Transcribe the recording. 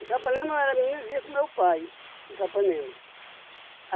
Em Capanema eu era menino e vivia com meu pai, em Capanema.